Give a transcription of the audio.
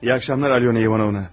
Axşamınız xeyir Alyona İvanovna.